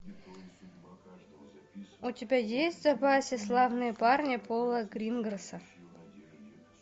у тебя есть в запасе славные парни пола гринграсса